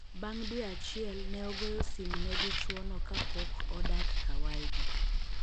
Bang dwe achiel neogoyo sim ne dichuo no ka pod odak ka waygi.